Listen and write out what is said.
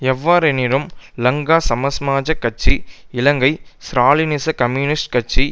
எவ்வாறெனினும் லங்கா சமசமாஜக் கட்சி இலங்கை ஸ்ராலினிச கம்யூனிஸ்ட் கட்சி